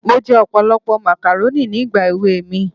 Mo jẹ ọ̀pọ̀lọpọ̀ màkàrónì nígbà èwe mi